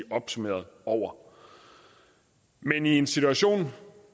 opsummeret over men i en situation